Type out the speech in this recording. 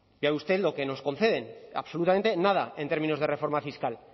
ya ve usted lo que nos conceden absolutamente nada en términos de reforma fiscal